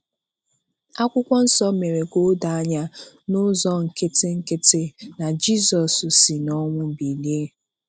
Akwụkwọ Nsọ mere ka o doo anya n'ụzọ nkịtị nkịtị na Jizọs si n'ọnwụ bilie.